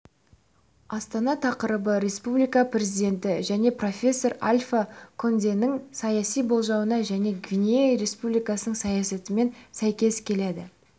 астана тақырыбы республика президенті және профессор альфа конденің саяси болжауына және гвинея республикасының саясатымен сәйкес келеді